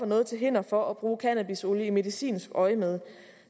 noget til hinder for at bruge cannabisolie i medicinsk øjemed